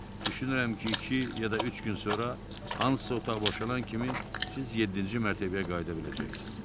Düşünürəm ki, iki ya da üç gün sonra hansısa otaq boşalan kimi siz yeddinci mərtəbəyə qayıda biləcəksiz.